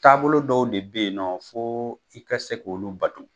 Taabolo dɔw de bɛ yen nɔ fo i ka se k'olu bato